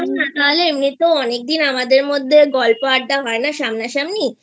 চল না নাহলে এমনিতেও অনেকদিন আমাদের মধ্যে গল্প আড্ডা হয় না সামনাসামনি